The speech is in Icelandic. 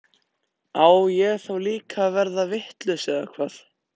Á ég þá líka að verða vitlaus eða hvað?